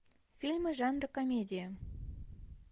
фильмы жанра комедия